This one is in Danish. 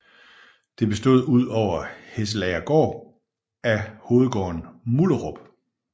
Det bestod ud over Hesselagergaard af hovedgården Mullerup